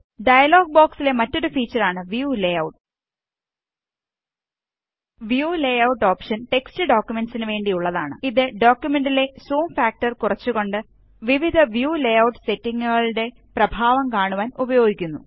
dialogue ബോകസിലെ മറ്റൊരു feature ആണ് view layout view layout option text ഡോക്കുമെന്റ്സ്നു വേണ്ടി ഉള്ളതാണ് ഇത് ഡോക്കുമെന്റിലെ സൂം ഫാക്ടര് കുറച്ചുകൊണ്ട് വിവിധ വ്യൂ ലേഔട്ട് സെറ്റിംഗ്സുകളുടെ പ്രഭാവം കാണുവാന് ഉപയോഗിക്കുന്നു